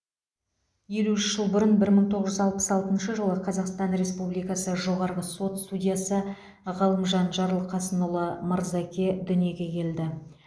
елу үш жыл бұрын бір мың тоғыз жүз алпыс алтыншы жылы қазақстан республикасы жоғарғы сот судьясы ғалымжан жарылқасынұлы мырзаке дүниеге келді